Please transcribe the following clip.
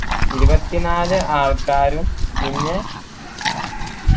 ഇരുപത്തിനാല് ആൾക്കാരും പിന്നെ